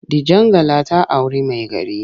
Dijangala ta auri maigari.